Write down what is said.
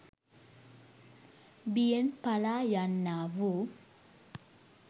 බියෙන් පලා යන්නා වූ